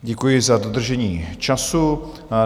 Děkuji za dodržení času.